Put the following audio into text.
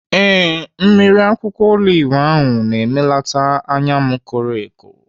Ee, mmiri akwụkwọ olive ahụ na-emelata anya m koro eko.